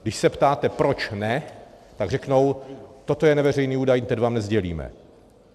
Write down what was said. Když se ptáte proč ne, tak řeknou, toto je neveřejný údaj, ten vám nesdělíme.